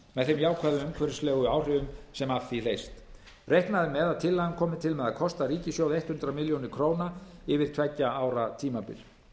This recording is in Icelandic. þeim jákvæðu umhverfislegu áhrifum sem af því hljótast reiknað er með að tillagan komi til með að kosta ríkissjóð hundrað milljónir króna yfir tveggja ára tímabil